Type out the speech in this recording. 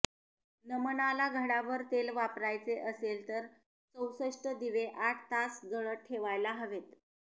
नमनाला घडाभर तेल वापरायचे असेल तर चौसष्ठ दिवे आठ तास जळत ठेवायला हवेत